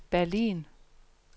Berlin